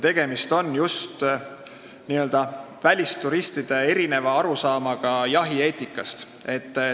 Tegemist on just välisturistide erineva arusaamaga jahieetikast.